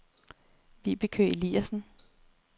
Vibeke Eliasen